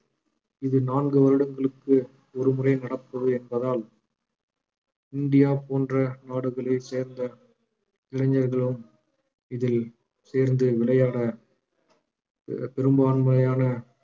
இது நான்கு வருடங்களுக்கு ஒருமுறை நடப்பது என்பதால் இந்தியா போன்ற நாடுகளைச் சேர்ந்த இளைஞர்களும் இதில் சேர்ந்து விளையாட எர் பெரும்பான்மையான